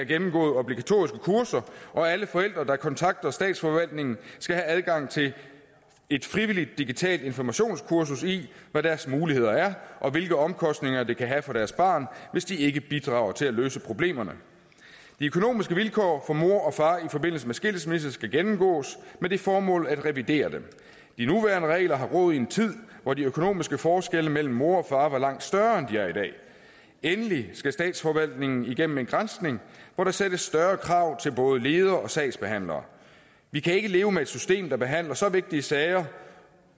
gennemgået obligatoriske kurser og alle forældre der kontakter statsforvaltningen skal have adgang til et frivilligt digitalt informationskursus i hvad deres muligheder er og hvilke omkostninger det kan have for deres barn hvis de ikke bidrager til at løse problemerne de økonomiske vilkår for mor og far i forbindelse med skilsmisse skal gennemgås med det formål at revidere dem de nuværende regler har rod i en tid hvor de økonomiske forskelle mellem mor og far var langt større end de er i dag endelig skal statsforvaltningen igennem en granskning hvor der stilles større krav til både ledere og sagsbehandlere vi kan ikke leve med et system der behandler så vigtige sager